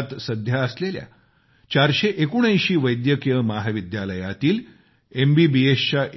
देशात सध्या असलेल्या 479 वैद्यकीय महाविद्यालयातील